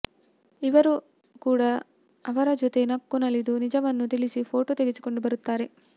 ಇವರು ಕೂಡ ಅವರ ಜೊತೆ ನಕ್ಕು ನಲಿದು ನಿಜವನ್ನು ತಿಳಿಸಿ ಫೋಟೋ ತೆಗೆಸಿಕೊಂಡು ಬರುತ್ತಾರೆ